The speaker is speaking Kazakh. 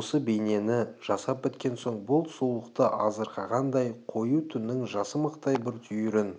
осы бейнені жасап біткен соң бұл сұлулықты азырқанғандай қою түннің жасымақтай бір түйірін